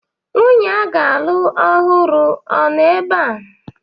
Nwunye a ga-alụ ọhụrụ a nọ ebea?